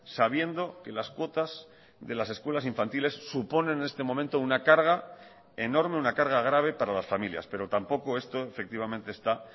sabiendo que las cuotas de las escuelas infantiles suponen en este momento una carga enorme una carga grave para las familias pero tampoco esto efectivamente está